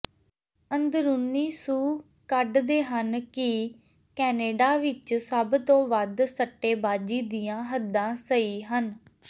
ਅੰਦਰੂਨੀ ਸੂਹ ਕੱਢਦੇ ਹਨ ਕਿ ਕੈਨੇਡਾ ਵਿਚ ਸਭ ਤੋਂ ਵੱਧ ਸੱਟੇਬਾਜ਼ੀ ਦੀਆਂ ਹੱਦਾਂ ਸਹੀ ਹਨ